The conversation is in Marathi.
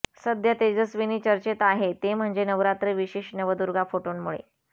सध्या तेजस्विनी चर्चेत आहे ते म्हणजे नवरात्र विशेष नवदुर्गा फोटोंमुळे